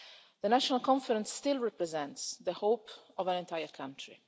The National Conference still represents the hope of an entire country.